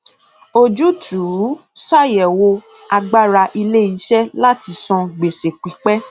ojútùú ṣàyẹwò agbára iléiṣẹ láti san gbèsè pípẹ